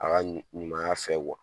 A ka ɲuma ɲumanya fɛ